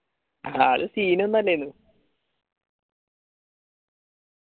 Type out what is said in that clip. അത് scene ല്ലനു